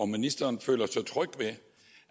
ministeren føler sig tryg ved